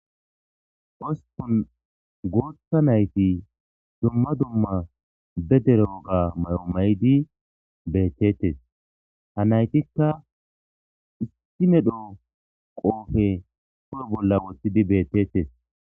Ospun guuththa nayti dumma dumma be dere woga mayo mayidi beeteetes. Ha naytikka issi medho qoofe hu'e bolla woththidi beeteetes.